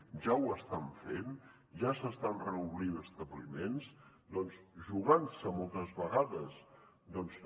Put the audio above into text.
ja ho estan fent ja s’estan reobrint establiments doncs jugant se moltes vegades també